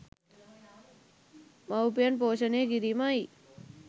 මවුපියන් පෝෂණය කිරීමයි.